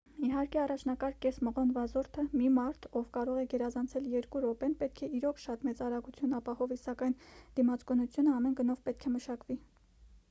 իհարկե առաջնակարգ կես մղոն վազորդը մի մարդ ով կարող է գերազանցել երկու րոպեն պետք է իրոք շատ մեծ արագություն ապահովի սակայն դիմացկունությունը ամեն գնով պետք է մշակվի